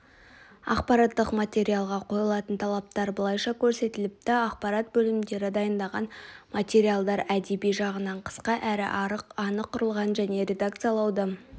ақпараттық материалға қойылатын талаптар былайша көрсетіліпті ақпарат бөлімдері дайындаған материалдар әдеби жағынан қысқа әрі анық құрылған және редакциялауды